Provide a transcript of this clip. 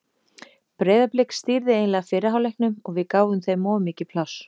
Breiðablik stýrði eiginlega fyrri hálfleiknum og við gáfum þeim of mikið pláss.